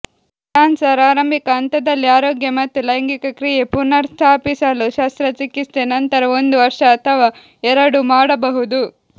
cancer ಆರಂಭಿಕ ಹಂತದಲ್ಲಿ ಆರೋಗ್ಯ ಮತ್ತು ಲೈಂಗಿಕ ಕ್ರಿಯೆ ಪುನರ್ಸ್ಥಾಪಿಸಲು ಶಸ್ತ್ರಚಿಕಿತ್ಸೆ ನಂತರ ಒಂದು ವರ್ಷ ಅಥವಾ ಎರಡು ಮಾಡಬಹುದು